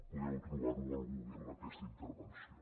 podeu trobar al google aquesta intervenció